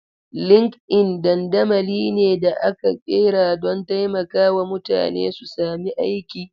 Linkedln dandamali ne da aka ƙera don taimakawa mutane su sami aiki.